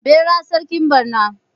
Bera sarkin barna